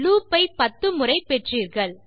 loop ஐ பத்து முறை பெற்றீர்கள்